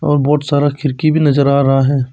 और बहोत सारा खिड़की भी नजर आ रहा है।